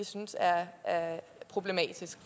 synes er problematisk